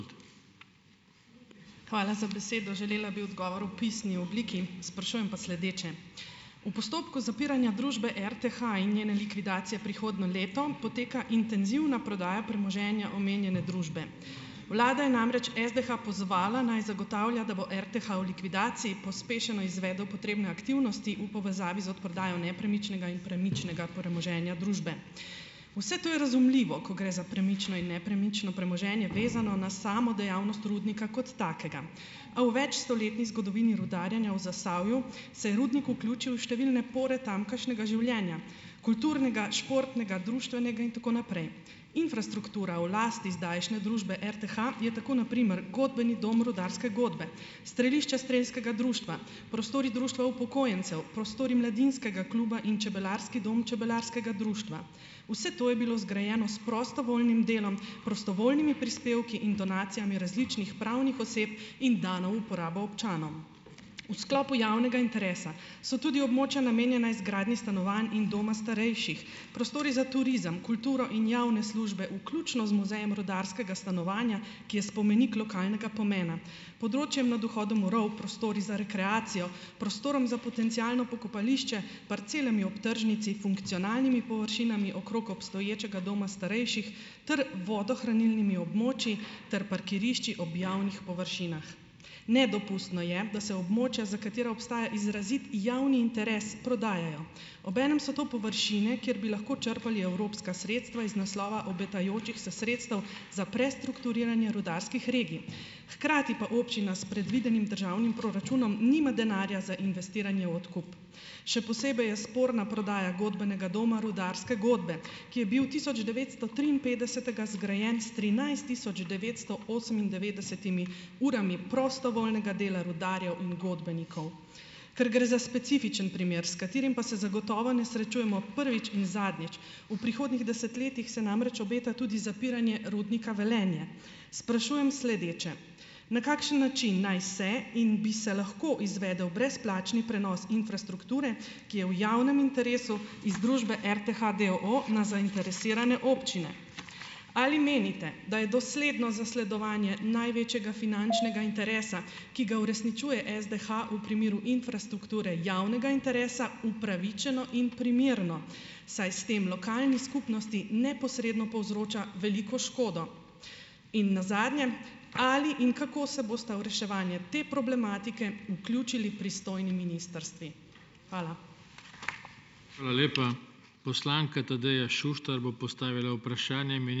Hvala za besedo. Želela bi odgovor v pisni obliki, sprašujem pa sledeče - v postopku zapiranja družbe RTH in njene likvidacije prihodnje leto poteka intenzivna prodaja premoženja omenjene družbe. Vlada je namreč SDH pozvala, naj zagotavlja, da bo RTH v likvidaciji pospešeno izvedel potrebne aktivnosti v povezavi z odprodajo nepremičnega in premičnega premoženja družbe. Vse to je razumljivo, ko gre za premično in nepremično premoženje, vezano na samo dejavnost rudnika kot takega. A v večstoletni zgodovini rudarjenja v Zasavju se je rudnik vključil številne pore tamkajšnjega življenja - kulturnega, športnega, društvenega in tako naprej. Infrastruktura v lasti zdajšnje družbe RTH je tako na primer godbeni dom rudarske godbe, strelišče strelskega društva, prostori društva upokojencev, prostori mladinskega kluba in čebelarski dom čebelarskega društva. Vse to je bilo zgrajeno s prostovoljnim delom, prostovoljnimi prispevki in donacijami različnih pravnih oseb in dano uporabo občanom. V sklopu javnega interesa so tudi območja, namenjena izgradnji stanovanj in doma starejših, prostori za turizem, kulturo in javne službe, vključno z muzejem rudarskega stanovanja, ki je spomenik lokalnega pomena, področjem nad vhodom v rov, prostori za rekreacijo, prostorom za potencialno pokopališče, parcelami ob tržnici, funkcionalnimi površinami okrog obstoječega doma starejših ter vodohranilnimi območji ter parkirišči ob javnih površinah. Nedopustno je, da se območja, za katera obstaja izrazit javni interes, prodajajo. Obenem so to površine, kjer bi lahko črpali evropska sredstva iz naslova obetajočih se sredstev za prestrukturiranje rudarskih regij. Hkrati pa občina s predvidenim državnim proračunom nima denarja za investiranje v odkup. Še posebej je sporna prodaja godbenega doma rudarske godbe, ki je bil tisoč devetsto triinpetdesetega zgrajen s trinajst tisoč devetsto osemindevetdesetimi urami prostovoljnega dela rudarjev in godbenikov. Ker gre za specifičen primer, s katerim pa se zagotovo ne srečujemo prvič in zadnjič - v prihodnjih desetletjih se namreč obeta tudi zapiranje rudnika Velenje - sprašujem sledeče. Na kakšen način naj se in bi se lahko izvedel brezplačni prenos infrastrukture, ki je v javnem interesu, iz družbe RTH, d. o. o., na zainteresirane občine. Ali menite, da je dosledno zasledovanje največjega finančnega interesa, ki ga uresničuje SDH v primeru infrastrukture javnega interesa, upravičeno in primerno, saj s tem lokalni skupnosti neposredno povzroča veliko škodo. In nazadnje, ali in kako se bosta v reševanje te problematike vključili pristojni ministrstvi? Hvala.